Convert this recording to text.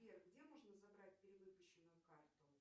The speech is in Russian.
сбер где можно забрать перевыпущенную карту